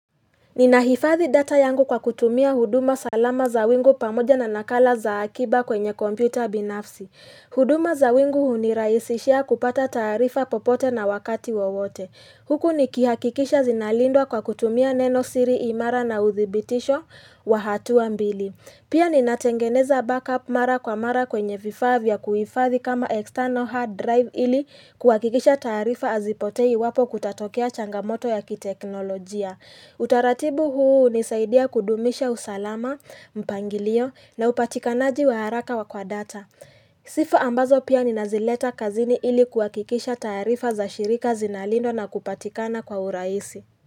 Ninahifadhi data yangu kwa kutumia huduma salama za wingu pamoja na nakala za akiba kwenye kompyuta ya binafsi huduma za wingu hunirahisishia kupata taarifa popote na wakati wowote Huku nikihakikisha zinalindwa kwa kutumia neno siri imara na uthibitisho wa hatua mbili Pia ninatengeneza backup mara kwa mara kwenye vifaa vya kuhifadhi kama external hard drive ili kuhakikisha taarifa hazipotei iwapo kutatokea changamoto ya kiteknolojia Utaratibu huu hunisaidia kudumisha usalama mpangilio na upatikanaji wa haraka wa kwa data Sifa ambazo pia ninazileta kazini ili kuhakikisha taarifa za shirika zinalindwa na kupatikana kwa urahisi.